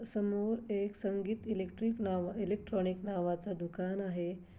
समोर एक संगीत इलेक्ट्रिक नावा-- एलेक्ट्रोनिक नावाचं दुकान आहे.